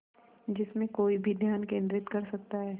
जिसमें कोई भी ध्यान केंद्रित कर सकता है